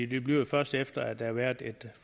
det bliver først efter at der har været